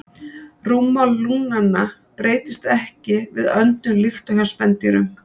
Rúmmál lungnanna breytist ekki við öndun líkt og hjá spendýrum.